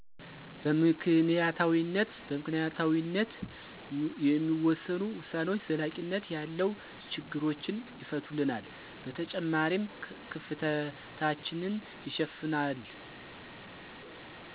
በምክንያታዊነት። በምክንያታዊነት የሚወሰኑ ዉሳኔዎች ዘላቂነት ያለው ችግሮችን ይፈቱልናል በተጨማሪም ክፍተታችንን ይሸፍናል።